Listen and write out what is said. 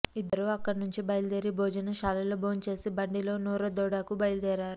ఇద్దరూ అక్కడనుంచి బయలుదేరి భోజన శాలలో భోంచేసి బండిలో నోరాదోడోకు బయలుదేరారు